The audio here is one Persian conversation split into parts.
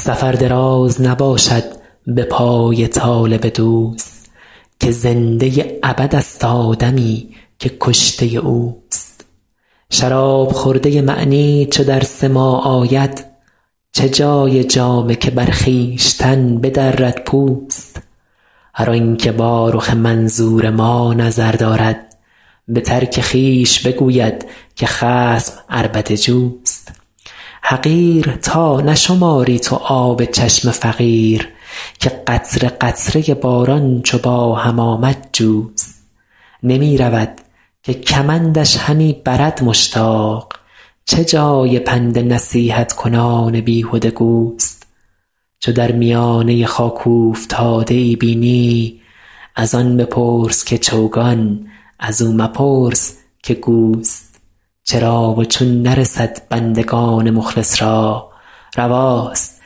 سفر دراز نباشد به پای طالب دوست که زنده ابدست آدمی که کشته اوست شراب خورده معنی چو در سماع آید چه جای جامه که بر خویشتن بدرد پوست هر آن که با رخ منظور ما نظر دارد به ترک خویش بگوید که خصم عربده جوست حقیر تا نشماری تو آب چشم فقیر که قطره قطره باران چو با هم آمد جوست نمی رود که کمندش همی برد مشتاق چه جای پند نصیحت کنان بیهده گوست چو در میانه خاک اوفتاده ای بینی از آن بپرس که چوگان از او مپرس که گوست چرا و چون نرسد بندگان مخلص را رواست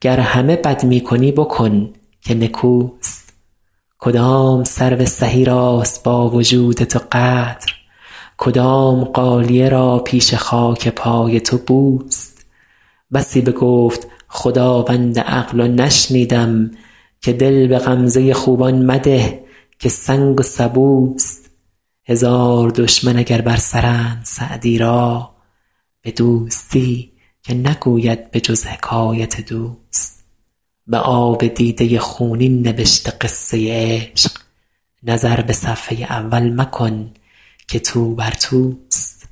گر همه بد می کنی بکن که نکوست کدام سرو سهی راست با وجود تو قدر کدام غالیه را پیش خاک پای تو بوست بسی بگفت خداوند عقل و نشنیدم که دل به غمزه خوبان مده که سنگ و سبوست هزار دشمن اگر بر سرند سعدی را به دوستی که نگوید به جز حکایت دوست به آب دیده خونین نبشته قصه عشق نظر به صفحه اول مکن که توبر توست